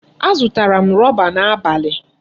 Azụtara m rọba n'abalị.